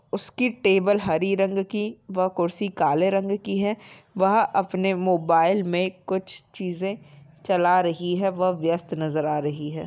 उसकी टेबल हरी रंग की व कुर्सी काले रंग की है वह अपने मोबाइल में कुछ चीज़ें चला रही है वह व्यस्त नज़र आ रही है।